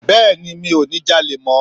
Bẹ́ẹ̀ni mi ò ní ja'lè mó